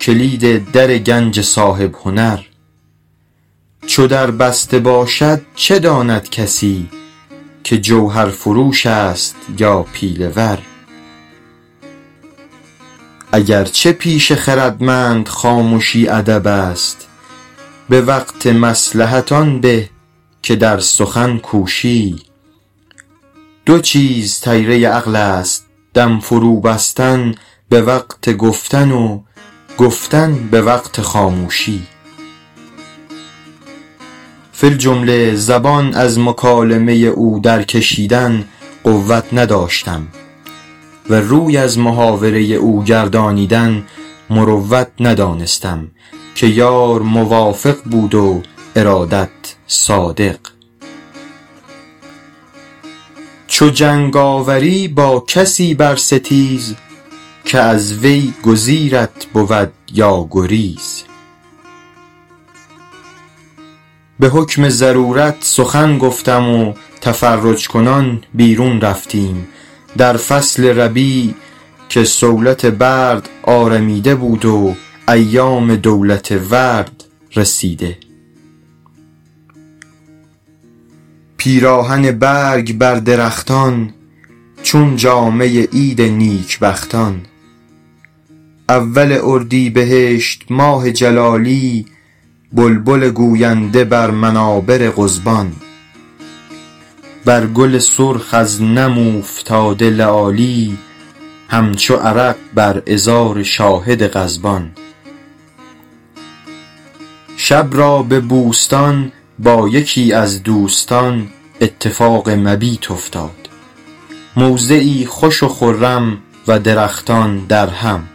کلید در گنج صاحب هنر چو در بسته باشد چه داند کسی که جوهرفروش است یا پیله ور اگر چه پیش خردمند خامشی ادب است به وقت مصلحت آن به که در سخن کوشی دو چیز طیره عقل است دم فرو بستن به وقت گفتن و گفتن به وقت خاموشی فی الجمله زبان از مکالمه او در کشیدن قوت نداشتم و روی از محاوره او گردانیدن مروت ندانستم که یار موافق بود و ارادت صادق چو جنگ آوری با کسی بر ستیز که از وی گزیرت بود یا گریز به حکم ضرورت سخن گفتم و تفرج کنان بیرون رفتیم در فصل ربیع که صولت برد آرمیده بود و ایام دولت ورد رسیده پیراهن برگ بر درختان چون جامه عید نیک بختان اول اردیبهشت ماه جلالی بلبل گوینده بر منابر قضبان بر گل سرخ از نم اوفتاده لآلی همچو عرق بر عذار شاهد غضبان شب را به بوستان با یکی از دوستان اتفاق مبیت افتاد موضعی خوش و خرم و درختان درهم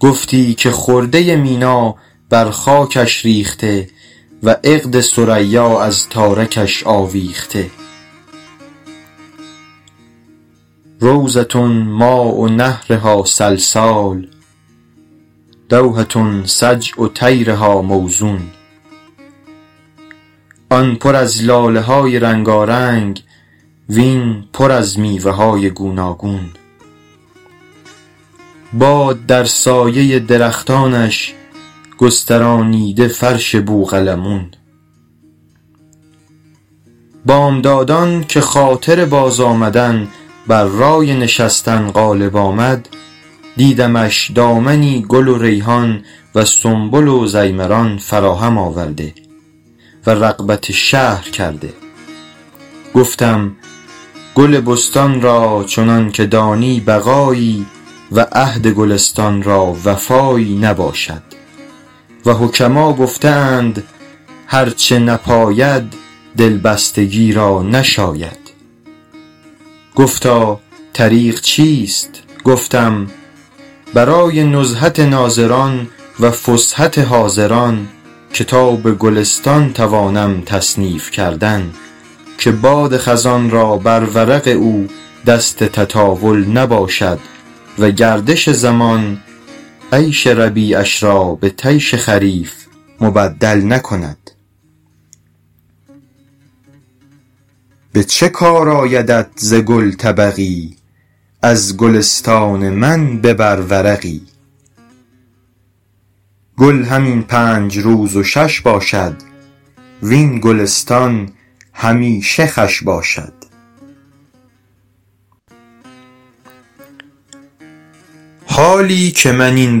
گفتی که خرده مینا بر خاکش ریخته و عقد ثریا از تارکش آویخته روضة ماء نهرها سلسال دوحة سجع طیرها موزون آن پر از لاله های رنگارنگ وین پر از میوه های گوناگون باد در سایه درختانش گسترانیده فرش بوقلمون بامدادان که خاطر باز آمدن بر رای نشستن غالب آمد دیدمش دامنی گل و ریحان و سنبل و ضیمران فراهم آورده و رغبت شهر کرده گفتم گل بستان را چنان که دانی بقایی و عهد گلستان را وفایی نباشد و حکما گفته اند هر چه نپاید دلبستگی را نشاید گفتا طریق چیست گفتم برای نزهت ناظران و فسحت حاضران کتاب گلستان توانم تصنیف کردن که باد خزان را بر ورق او دست تطاول نباشد و گردش زمان عیش ربیعش را به طیش خریف مبدل نکند به چه کار آیدت ز گل طبقی از گلستان من ببر ورقی گل همین پنج روز و شش باشد وین گلستان همیشه خوش باشد حالی که من این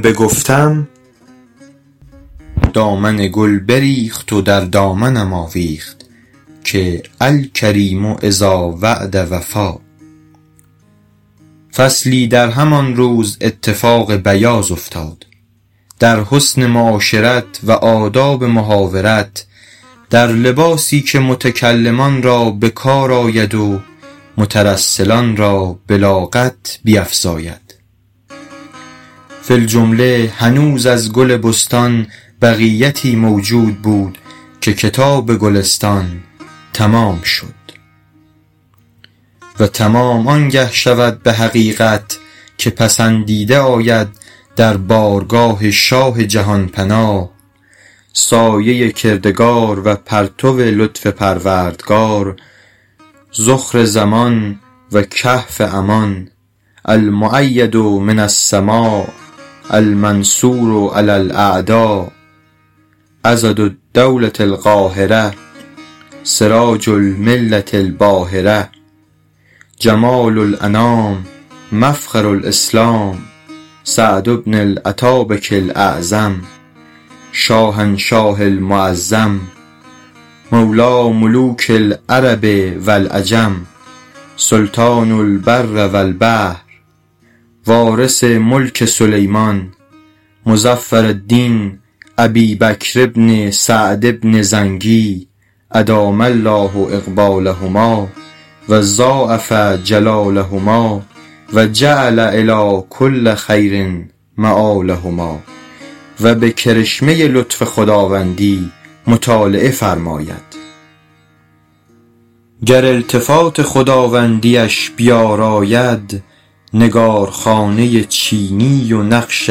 بگفتم دامن گل بریخت و در دامنم آویخت که الکریم إذا وعد وفا فصلی در همان روز اتفاق بیاض افتاد در حسن معاشرت و آداب محاورت در لباسی که متکلمان را به کار آید و مترسلان را بلاغت بیفزاید فی الجمله هنوز از گل بستان بقیتی موجود بود که کتاب گلستان تمام شد و تمام آن گه شود به حقیقت که پسندیده آید در بارگاه شاه جهان پناه سایه کردگار و پرتو لطف پروردگار ذخر زمان و کهف امان المؤید من السماء المنصور علی الأعداء عضد الدولة القاهرة سراج الملة الباهرة جمال الأنام مفخر الإسلام سعد بن الاتابک الاعظم شاهنشاه المعظم مولیٰ ملوک العرب و العجم سلطان البر و البحر وارث ملک سلیمان مظفرالدین أبی بکر بن سعد بن زنگی أدام الله إقبالهما و ضاعف جلالهما و جعل إلیٰ کل خیر مآلهما و به کرشمه لطف خداوندی مطالعه فرماید گر التفات خداوندی اش بیاراید نگارخانه چینی و نقش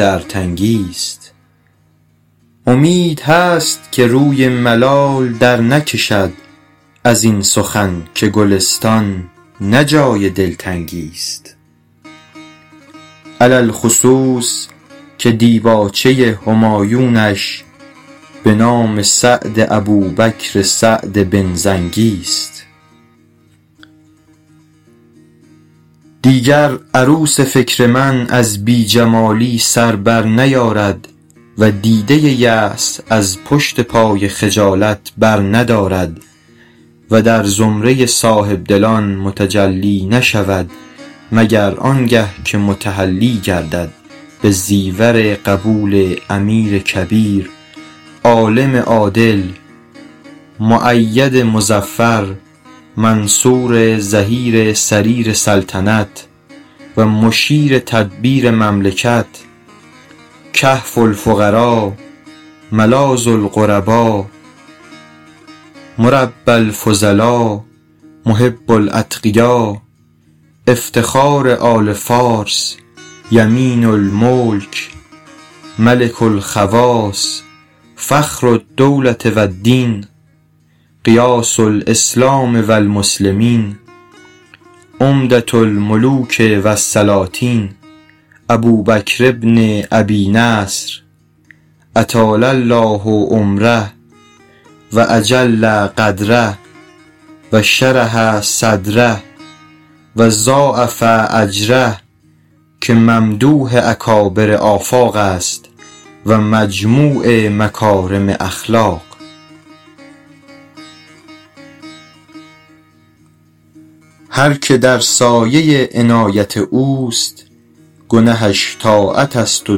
ارتنگی ست امید هست که روی ملال در نکشد از این سخن که گلستان نه جای دلتنگی ست علی الخصوص که دیباچه همایونش به نام سعد ابوبکر سعد بن زنگی ست دیگر عروس فکر من از بی جمالی سر بر نیارد و دیده یأس از پشت پای خجالت بر ندارد و در زمره صاحب دلان متجلی نشود مگر آن گه که متحلی گردد به زیور قبول امیر کبیر عالم عادل مؤید مظفر منصور ظهیر سریر سلطنت و مشیر تدبیر مملکت کهف الفقرا ملاذ الغربا مربی الفضلا محب الأتقیا افتخار آل فارس یمین الملک ملک الخواص فخر الدولة و الدین غیاث الإسلام و المسلمین عمدة الملوک و السلاطین ابوبکر بن أبي نصر أطال الله عمره و أجل قدره و شرح صدره و ضاعف أجره که ممدوح اکابر آفاق است و مجموع مکارم اخلاق هر که در سایه عنایت اوست گنهش طاعت است و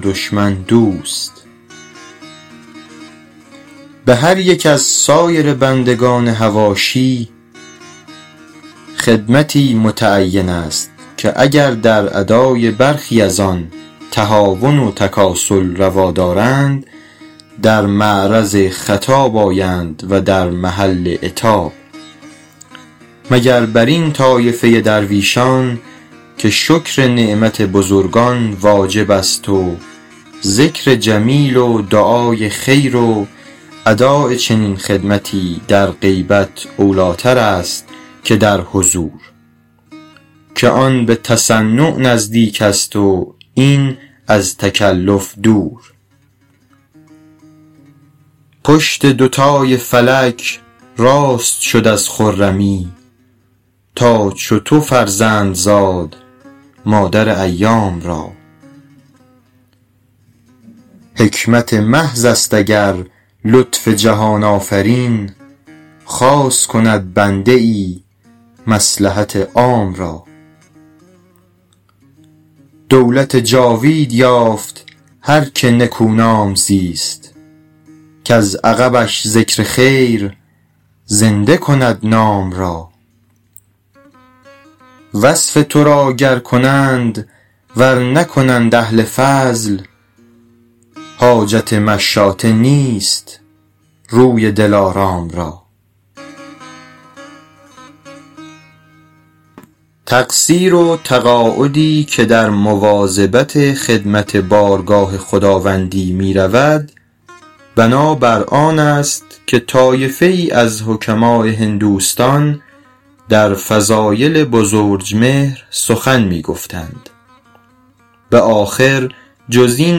دشمن دوست به هر یک از سایر بندگان حواشی خدمتی متعین است که اگر در ادای برخی از آن تهاون و تکاسل روا دارند در معرض خطاب آیند و در محل عتاب مگر بر این طایفه درویشان که شکر نعمت بزرگان واجب است و ذکر جمیل و دعای خیر و اداء چنین خدمتی در غیبت اولی ٰتر است که در حضور که آن به تصنع نزدیک است و این از تکلف دور پشت دوتای فلک راست شد از خرمی تا چو تو فرزند زاد مادر ایام را حکمت محض است اگر لطف جهان آفرین خاص کند بنده ای مصلحت عام را دولت جاوید یافت هر که نکونام زیست کز عقبش ذکر خیر زنده کند نام را وصف تو را گر کنند ور نکنند اهل فضل حاجت مشاطه نیست روی دلارام را تقصیر و تقاعدی که در مواظبت خدمت بارگاه خداوندی می رود بنا بر آن است که طایفه ای از حکماء هندوستان در فضایل بزرجمهر سخن می گفتند به آخر جز این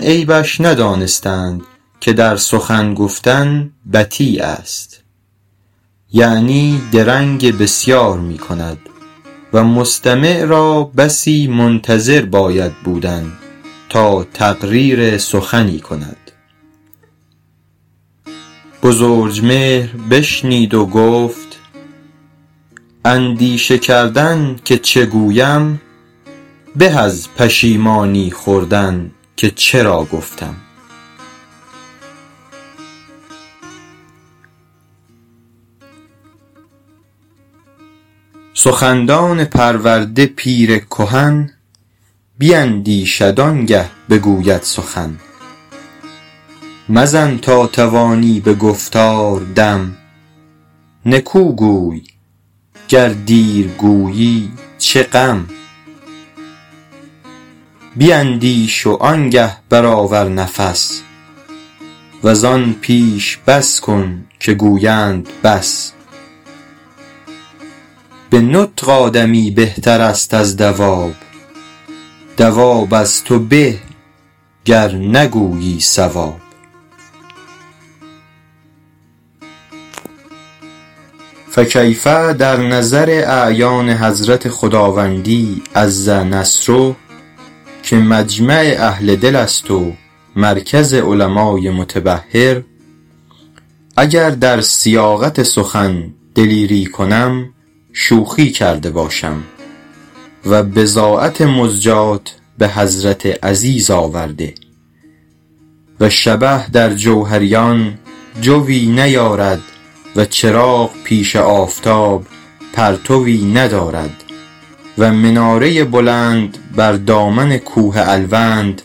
عیبش ندانستند که در سخن گفتن بطی است یعنی درنگ بسیار می کند و مستمع را بسی منتظر باید بودن تا تقریر سخنی کند بزرجمهر بشنید و گفت اندیشه کردن که چه گویم به از پشیمانی خوردن که چرا گفتم سخندان پرورده پیر کهن بیندیشد آن گه بگوید سخن مزن تا توانی به گفتار دم نکو گوی گر دیر گویی چه غم بیندیش وآن گه بر آور نفس وز آن پیش بس کن که گویند بس به نطق آدمی بهتر است از دواب دواب از تو به گر نگویی صواب فکیف در نظر اعیان حضرت خداوندی عز نصره که مجمع اهل دل است و مرکز علمای متبحر اگر در سیاقت سخن دلیری کنم شوخی کرده باشم و بضاعت مزجاة به حضرت عزیز آورده و شبه در جوهریان جویٖ نیارد و چراغ پیش آفتاب پرتوی ندارد و مناره بلند بر دامن کوه الوند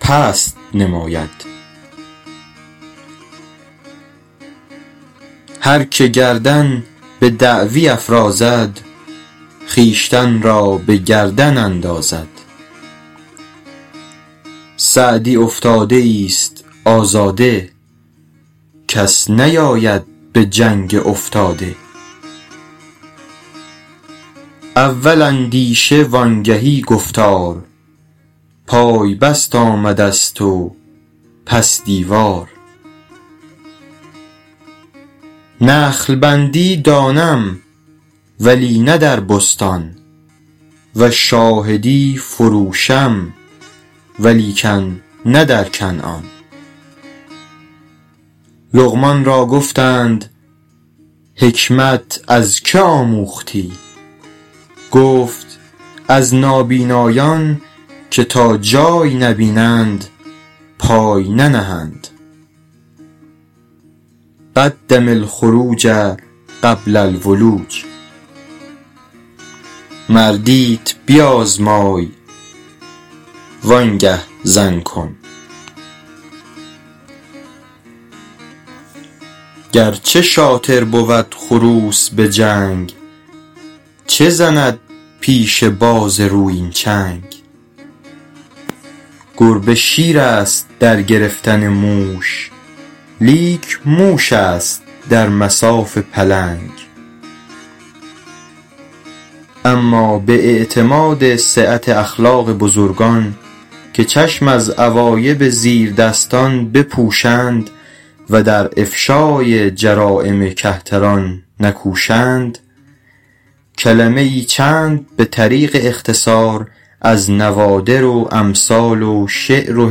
پست نماید هر که گردن به دعوی افرازد خویشتن را به گردن اندازد سعدی افتاده ای ست آزاده کس نیاید به جنگ افتاده اول اندیشه وآن گهی گفتار پای بست آمده ست و پس دیوار نخل بندی دانم ولی نه در بستان و شاهدی فروشم ولیکن نه در کنعان لقمان را گفتند حکمت از که آموختی گفت از نابینایان که تا جای نبینند پای ننهند قدم الخروج قبل الولوج مردیت بیازمای وآن گه زن کن گر چه شاطر بود خروس به جنگ چه زند پیش باز رویین چنگ گربه شیر است در گرفتن موش لیک موش است در مصاف پلنگ اما به اعتماد سعت اخلاق بزرگان که چشم از عوایب زیردستان بپوشند و در افشای جرایم کهتران نکوشند کلمه ای چند به طریق اختصار از نوادر و امثال و شعر و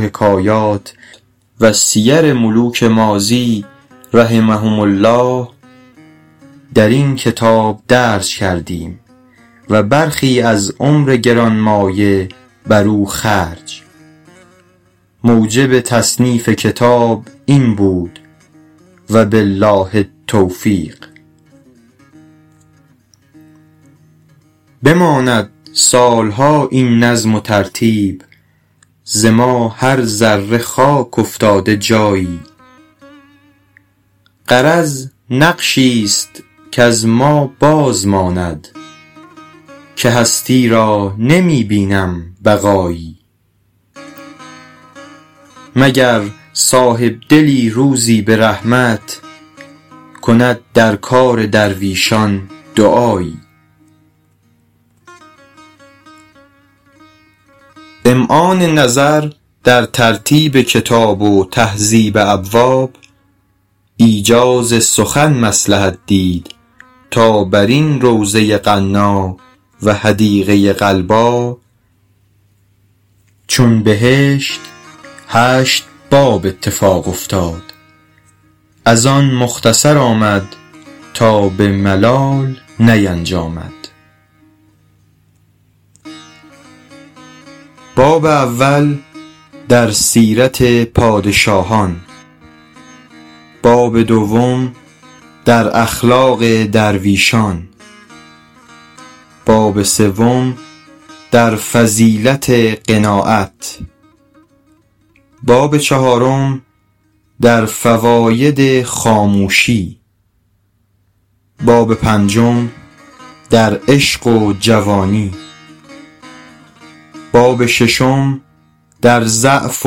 حکایات و سیر ملوک ماضی رحمهم الله در این کتاب درج کردیم و برخی از عمر گرانمایه بر او خرج موجب تصنیف کتاب این بود و بالله التوفیق بماند سال ها این نظم و ترتیب ز ما هر ذره خاک افتاده جایی غرض نقشی ست کز ما باز ماند که هستی را نمی بینم بقایی مگر صاحب دلی روزی به رحمت کند در کار درویشان دعایی امعان نظر در ترتیب کتاب و تهذیب ابواب ایجاز سخن مصلحت دید تا بر این روضه غنا و حدیقه غلبا چون بهشت هشت باب اتفاق افتاد از آن مختصر آمد تا به ملال نینجامد باب اول در سیرت پادشاهان باب دوم در اخلاق درویشان باب سوم در فضیلت قناعت باب چهارم در فواید خاموشی باب پنجم در عشق و جوانی باب ششم در ضعف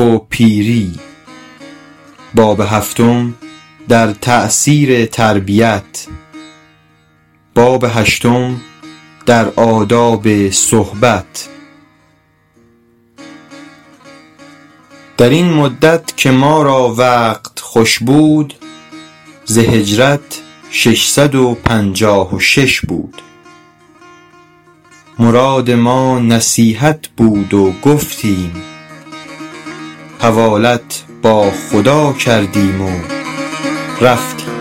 و پیری باب هفتم در تأثیر تربیت باب هشتم در آداب صحبت در این مدت که ما را وقت خوش بود ز هجرت شش صد و پنجاه و شش بود مراد ما نصیحت بود و گفتیم حوالت با خدا کردیم و رفتیم